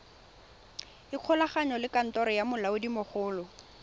ikgolaganye le kantoro ya molaodimogolo